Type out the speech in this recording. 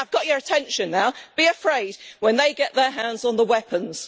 Yeah, I've got your attention now. Be afraid when they get their hands on the weapons!